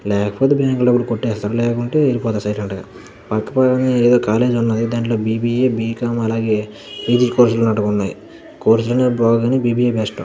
లేకపోతే బ్యాంక్ లో ఎవడు కోటేస్తాడు లేకుంటే ఎలిపోతాడు సైలెంట్ గ పక్కనే ఎదో కాలేజ్ ఉన్నది దాంట్లో B. B. A. B. Com అలాగే పీజీ కోర్స్ లు ఉన్నటుగా వున్నాయ్ కోర్స్ లు అన్నీ బాగోవుకని బి. బి. ఎ. బెస్ట్ .